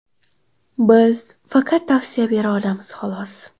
Biz faqat tavsiya bera olamiz, xolos”.